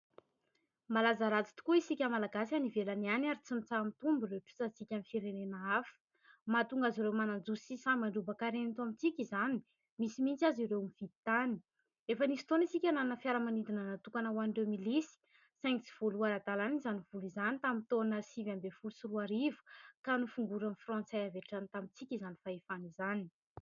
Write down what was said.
Malaza ratsy tokoa isika malagasy any ivelana any ary tsy mitsaha-mitombo ireo trosantsika amin'ny firenena hafa. Mahatonga azy ireo manadosy sy sahy mandrobaka harena eto amintsika izany, misy mihitsy aza ireo mividy tany. Efa nisy fotoana isika nanana fiaramanidina natokana ho an'ireo milisy saingy tsy voaloha ara-dalana izany vola izany tamin'ny taona sivy ambin'ny folo sy roa arivo ka nofongorin'ny frantsay avy hatrany tamintsika izany fahefana izany.